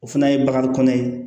O fana ye bagan kɔnɛ ye